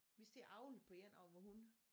Vi skal til at avle på en af vore hunde